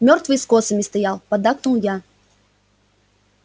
мёртвые с косами стоят поддакнул я